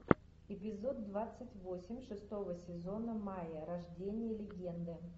эпизод двадцать восемь шестого сезона майя рождение легенды